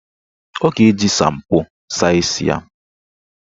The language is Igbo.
Ọ ga-eji shampo saa isi ya.